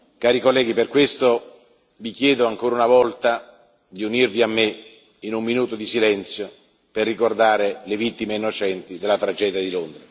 Cari colleghi, per questo vi chiedo, ancora una volta, di unirvi a me in un minuto di silenzio per ricordare le vittime innocenti della tragedia di